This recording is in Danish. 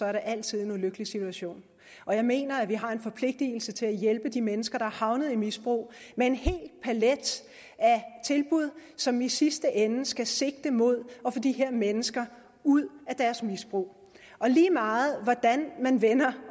altid en ulykkelige situation og jeg mener at vi har en forpligtelse til at hjælpe de mennesker der er havnet i misbrug med en hel palet af tilbud som i sidste ende skal sigte mod at få de her mennesker ud af deres misbrug lige meget hvordan man vender